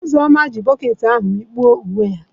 Uzoma ji bokiti ahu mikpuo uwe ya.